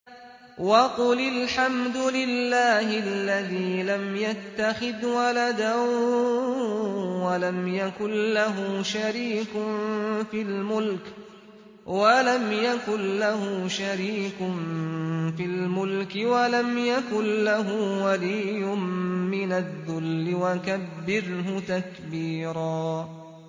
وَقُلِ الْحَمْدُ لِلَّهِ الَّذِي لَمْ يَتَّخِذْ وَلَدًا وَلَمْ يَكُن لَّهُ شَرِيكٌ فِي الْمُلْكِ وَلَمْ يَكُن لَّهُ وَلِيٌّ مِّنَ الذُّلِّ ۖ وَكَبِّرْهُ تَكْبِيرًا